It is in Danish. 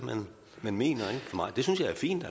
man mener det synes jeg er fint